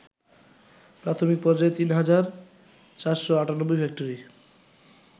প্রাথমিক পর্যায়ে ৩ হাজার ৪৯৮ ফ্যাক্টরি